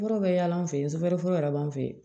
Yɔrɔ bɛ yaala an fɛ yen soboli yɛrɛ b'an fɛ yen